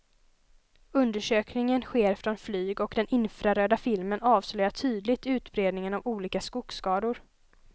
Undersökningen sker från flyg och den infraröda filmen avslöjar tydligt utbredningen av olika skogsskador.